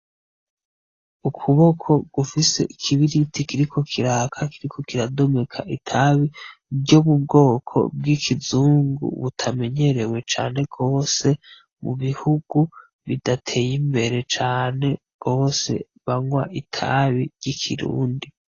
Ukuboko gufise ikibiriti kiriko kiraka kiriko kiradomeka itabi ryo mubwoko bw'ikizungu butamenyerewe cane gose mubihugu bidateye imbere cane gose ,banwa itabi ry'ikirundi .